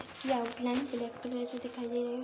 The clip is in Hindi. इसकी आउटलाइन ब्लैक कलर से दिखाई दे रही ।